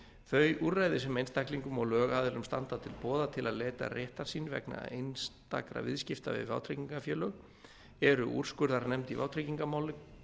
þau úrræði sem einstaklingum og lögaðilum standa til boða til að leita réttar síns vegna einstakra viðskipta við vátryggingafélög eru úrskurðarnefnd í vátryggingamálum